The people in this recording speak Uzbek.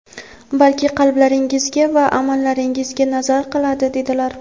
balki qalblaringizga va amallaringizga nazar qiladi", dedilar".